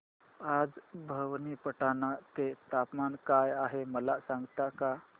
आज भवानीपटना चे तापमान काय आहे मला सांगता का